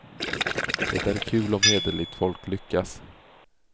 Det är kul om hederligt folk lyckas.